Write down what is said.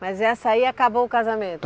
Mas essa aí acabou o casamento?